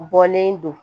Bɔlen don